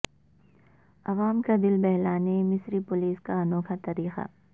عوام کا دل بہلانے مصری پولیس کا انوکھا طریقہ